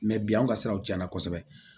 Mɛ bi an ka siraw cɛnna kosɛbɛ